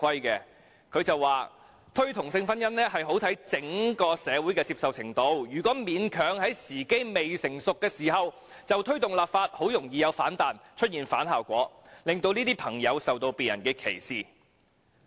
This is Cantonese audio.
她說："推動同性婚姻很視乎整個社會的接受程度，如果勉強在時機未成熟時就推動立法，很容易有反彈，出現反效果，令這些朋友受到別人歧視"。